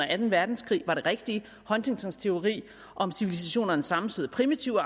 anden verdenskrig var det rigtige huntingtons teori om civilisationernes sammenstød er primitiv og